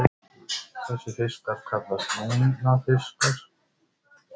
Þessir fiskar kallast lungnafiskar.